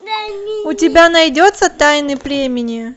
у тебя найдется тайны племени